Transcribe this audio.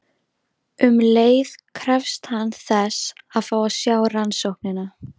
Um leið krefst hann þess að fá að sjá rannsóknina.